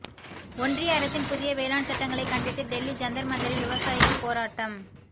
ஒன்றிய அரசின் புதிய வேளாண் சட்டங்களை கண்டித்து டெல்லி ஜந்தர் மந்தரில் விவசாயிகள் போராட்டம்